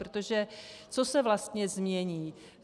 Protože co se vlastně změní?